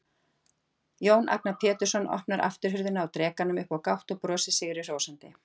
Jón Agnar Pétursson opnar afturhurðina á drekanum upp á gátt og brosir sigri hrósandi.